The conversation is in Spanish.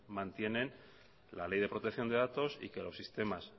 mantienen la ley de protección de datos y que los sistemas